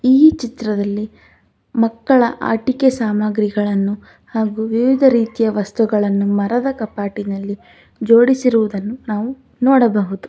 ಈ ಚಿತ್ರದಲ್ಲಿ ಮಕ್ಕಳ ಆಟಿಕೆ ಸಾಮಗ್ರಿಗಳನ್ನು ಹಾಗು ವಿವಿಧ ರೀತಿಯ ವಸ್ತುಗಳನ್ನು ಮರದ ಕಪಾಟಿನಲ್ಲಿ ಜೋಡಿಸಿರುವುದನ್ನು ನಾವು ನೋಡಬಹುದು.